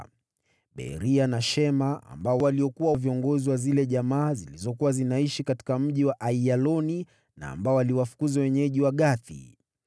na Beria na Shema, waliokuwa viongozi wa zile jamaa zilizokuwa zinaishi katika mji wa Aiyaloni, na ambao waliwafukuza wenyeji wa Gathi.